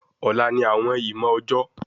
Ọla ni awọn ìmọ ọjọ